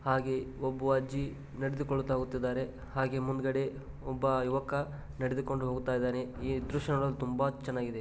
ಹಾಗೆ ಒಬ್ಬ ಅಜ್ಜಿ ನಡೆದುಕೊಂಡು ಹೋಗುತ್ತಿದ್ದಾರೆ ಹಾಗೆ ಮುಂದುಗಡೆ ಒಬ್ಬ ಯುವಕ ನಡೆದುಕೊಂಡು ಹೋಗುತ್ತಿದ್ದಾನೆ ಈ ದೃಶ್ಯ ನೋಡಲು ತುಂಬಾ ಚೆನ್ನಾಗಿದೆ.